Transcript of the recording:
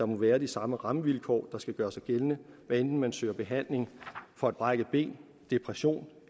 må være de samme rammevilkår der skal gøre sig gældende hvad enten man søger behandling for et brækket ben en depression